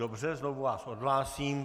Dobře, znovu vás odhlásím.